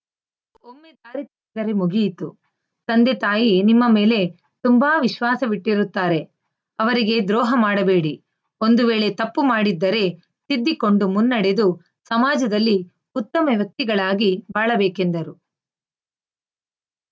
ಒಮ್ಮೆ ದಾರಿ ತಪ್ಪಿದರೆ ಮುಗಿಯಿತು ತಂದೆ ತಾಯಿ ನಿಮ್ಮ ಮೇಲೆ ತುಂಬಾ ವಿಶ್ವಾಸವಿಟ್ಟಿರುತ್ತಾರೆ ಅವರಿಗೆ ದ್ರೋಹ ಮಾಡಬೇಡಿ ಒಂದು ವೇಳೆ ತಪ್ಪು ಮಾಡಿದ್ದರೆ ತಿದ್ದಿಕೊಂಡು ಮುನ್ನಡೆದು ಸಮಾಜದಲ್ಲಿ ಉತ್ತಮ ವ್ಯಕ್ತಿಗಳಾಗಿ ಬಾಳಬೇಕೆಂದರು